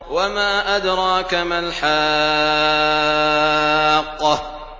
وَمَا أَدْرَاكَ مَا الْحَاقَّةُ